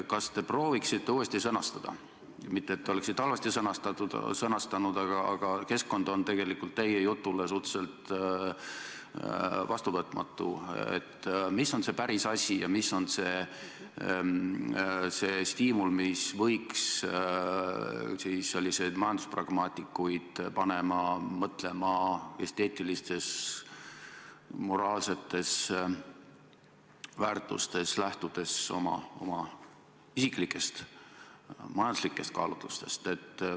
Kas te prooviksite uuesti sõnastada – mitte et te oleksite halvasti sõnastanud, aga keskkond on tegelikult teie jutu suhtes suhteliselt vastuvõtmatu –, mis on see päris asi ja mis on see stiimul, mis võiks selliseid majanduspragmaatikuid panna mõtlema esteetilistes, moraalsetes kategooriates, lähtudes seejuures ka oma isiklikest majanduslikest kaalutlustest?